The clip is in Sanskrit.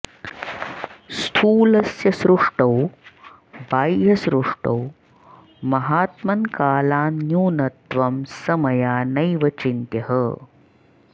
स्थूलस्य सृष्टौ बाह्यसृष्टौ महात्मन्कालान्न्यूनत्वं स मया नैव चिन्त्यः